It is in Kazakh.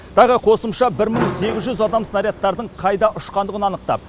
тағы қосымша бір мың сегіз жүз адам снарядтардың қайда ұшқандығын анықтап